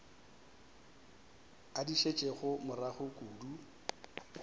a di šetšego morago kudu